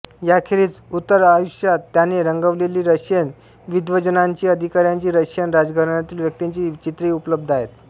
याखेरीज उत्तरायुष्यात त्याने रंगविलेली रशियन विद्वज्जनांची अधिकाऱ्यांची रशियन राजघराण्यातील व्यक्तींची चित्रेही उपलब्ध आहेत